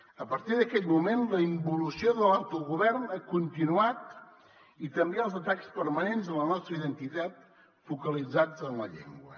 a partir d’aquell moment la involució de l’autogovern ha continuat i també els atacs permanents a la nostra identitat focalitzats en la llengua